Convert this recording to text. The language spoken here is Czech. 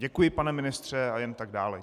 Děkuji, pane ministře, a jen tak dále.